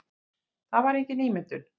Það var engin ímyndun.